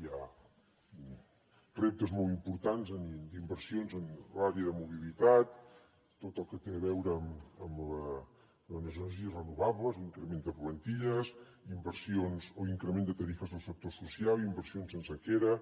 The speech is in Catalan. hi ha reptes molt importants inversions en l’àrea de mobilitat tot el que té a veure amb les energies renovables l’increment de plantilles inversions o increment de tarifes del sector social i inversions en sequera